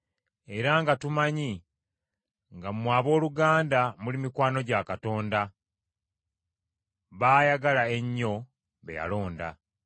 era nga tumanyi, nga mmwe abooluganda muli mikwano gya Katonda, baayagala ennyo, be yalonda.